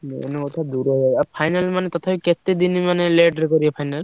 Main କଥା ଦୂର ଜାଗା ଆଉ final ମାନେ ତଥାପି କେତେ ଦିନ ମାନେ late ରେ କରିବେ final ।